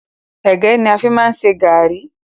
Ẹ̀gẹ́ ni a fi máa ń ṣe gàárì.